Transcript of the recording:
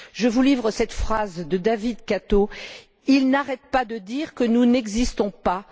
Je vous livre cette phrase de David Kato Ils n'arrêtent pas de dire que nous n'existons pas.